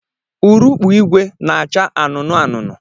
Urukpu ìgwè na-acha anụnụ anụnụ